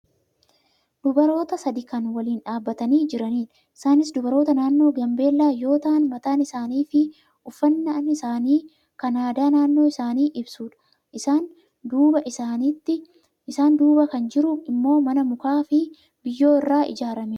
Dabroota sadii kan waliin dhaabatanii jiraniidha. Isaanis dubaroota naannoo gaambeellaa yoo ta'an mataan isaaniifi uffannaan isaanii kan aadaa naannoo isaanii ibsudha. Isaan duuba kan jiru immoo mana mukaa fi biyyoo irraa ijaaramedha.